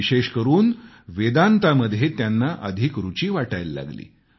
विशेष करून वेदांतामध्ये त्यांना अधिक रूची वाटायला लागली